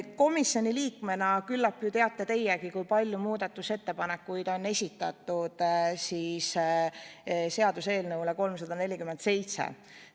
Komisjoni liikmena küllap teate teiegi, kui palju muudatusettepanekuid on esitatud seaduseelnõu 347 kohta.